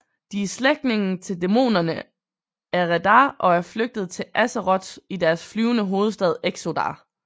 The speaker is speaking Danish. De er slægtninge til dæmonerne Eredar og er flygtet til Azeroth i deres flyvende hovedstad Exodar